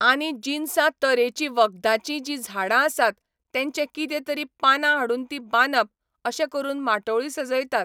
आनी जिनसां तरेची वखदाचीं जी झाडां आसात तेंचें कितें तरी पानां हाडुन ती बांदप अशें करून माटोळी सजयतात